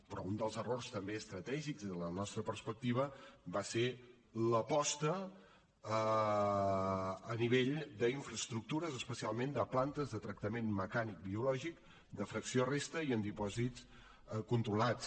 però un dels errors també estratègics des de la nostra perspectiva va ser l’aposta a nivell d’infraestructures especialment de plantes de tractament mecànic biològic de fracció resta i en dipòsits controlats